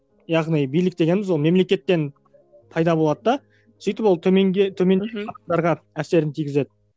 яғни билік дегеніміз ол мемлекеттен пайда болады да сөйтіп ол төменге әсерін тигізеді